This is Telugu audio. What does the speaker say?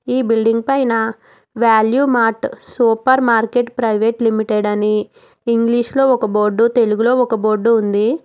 ఈ బిల్డింగ్ పైన value mart super market private limited అని ఇంగ్లీషు లో ఒక బోర్డు తెలుగులో ఒక బోర్డు ఉంది.